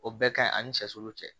O bɛɛ ka ɲi ani silu cɛ